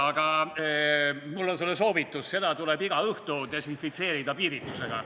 Aga mul on sulle soovitus: seda tuleb iga õhtu desinfitseerida piiritusega.